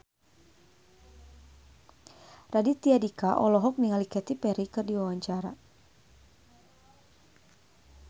Raditya Dika olohok ningali Katy Perry keur diwawancara